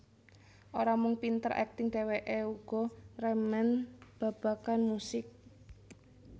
Ora mung pinter akting dhèwèké uga remen babagan musik